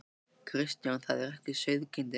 Kristján: Það er ekki sauðkindin?